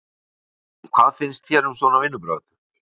Kristján: Hvað finnst þér um svona vinnubrögð?